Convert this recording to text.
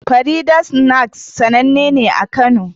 Farida's snacks sannane ne a kano